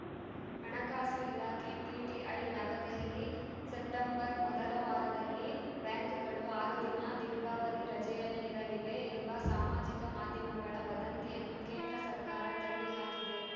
ಹಣಕಾಸು ಇಲಾಖೆ ಪಿಟಿಐ ನವದೆಹಲಿ ಸೆಪ್ಟೆಂಬರ್‌ ಮೊದಲ ವಾರದಲ್ಲಿ ಬ್ಯಾಂಕ್‌ಗಳು ಆರು ದಿನ ದೀರ್ಘಾವಧಿ ರಜೆಯಲ್ಲಿರಲಿವೆ ಎಂಬ ಸಾಮಾಜಿಕ ಮಾಧ್ಯಮಗಳ ವದಂತಿಯನ್ನು ಕೇಂದ್ರ ಸರ್ಕಾರ ತಳ್ಳಿ ಹಾಕಿದೆ